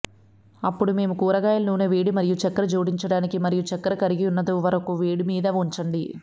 అప్పుడు మేము కూరగాయల నూనె వేడి మరియు చక్కెర జోడించడానికి మరియు చక్కెర కరిగియున్నదో వరకు వేడి మీద ఉంచండి